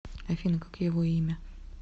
афина как его имя